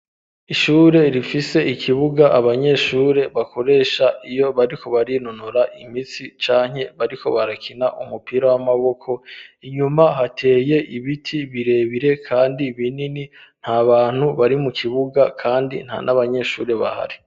Ishure rifise ikibuga abanyeshure bakoresha iyo bariko barinunora imitsi canke bariko barakina umupira w'amaboko, inyuma hateye ibiti birebire kandi binini, nta bantu bari mu kibuga kandi nta n'abanyeshuri bahari.